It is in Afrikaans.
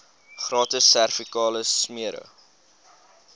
gratis servikale smere